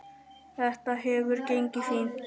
Þetta hefur gengið fínt.